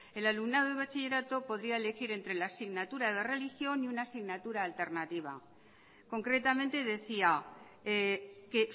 el alumnado de bachillerato podría elegir entre la asignatura de religión y una asignatura alternativa concretamente decía que